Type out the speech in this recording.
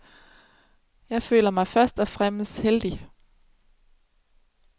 Jeg føler mig først og fremmest heldig.